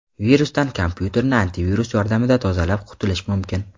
Virusdan kompyuterni antivirus yordamida tozalab, qutulish mumkin.